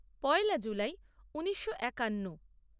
পয়লা জুলাই ঊনিশো একান্ন